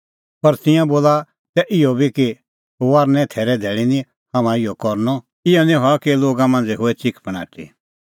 पर तिंयां बोला तै इहअ बी कि थैरे धैल़ी निं हाम्हां इहअ करनअ इहअ निं हआ कि लोगा मांझ़ै होए च़िकफणाटी